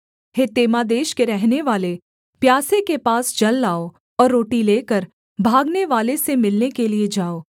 हे तेमा देश के रहनेवाले प्यासे के पास जल लाओ और रोटी लेकर भागनेवाले से मिलने के लिये जाओ